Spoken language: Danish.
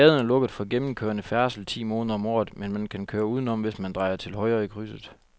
Gaden er lukket for gennemgående færdsel ti måneder om året, men man kan køre udenom, hvis man drejer til højre i krydset.